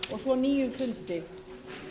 og svo nýjum fundi